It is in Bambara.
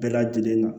Bɛɛ lajɛlen na